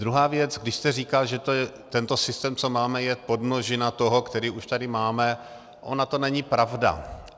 Druhá věc, když jste říkal, že tento systém, co máme, je podmnožina toho, který už tady máme, ona to není pravda.